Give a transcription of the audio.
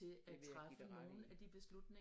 Det vil jeg give dig ret i